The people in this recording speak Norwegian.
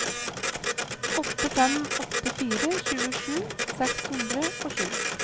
åtte fem åtte fire tjuesju seks hundre og sju